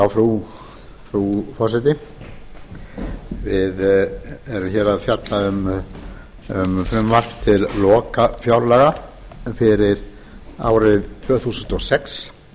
frú forseti við eru að fjalla um frumvarp til lokafjárlaga fyrir árið tvö þúsund og sex